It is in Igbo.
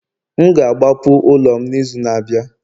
M ga-agbapụ ụlọ m n'izu na-abịa